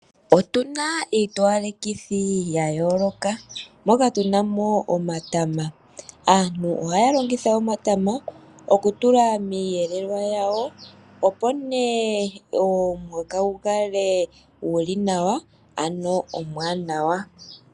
Otuna iitowalekithi ya yooloka moka tuna omatama. Aantu ohaya longitha omatama oku tula miiyelwa yawo, opo ne omuhoka gu kale guli nawa.